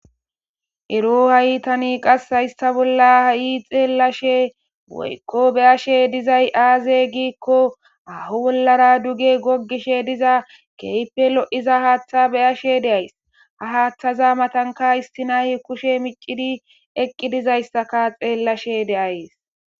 Ero ha7i tanii qas haysasththa bolla ha7i xeellashee woykko be7ashee dizay aazee giikko haaho bollaara duge doggisheediza keehippe lo7iza haaththaa be7ashee de7ays;ha haaththasaza mathakka issi nay kushe miccidii eqqidazaysekka xeellashee de7ays.